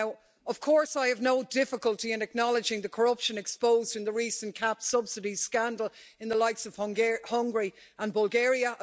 Now, of course I have no difficulty in acknowledging the corruption exposed in the recent CAP subsidies scandal in the likes of Hungary and Bulgaria.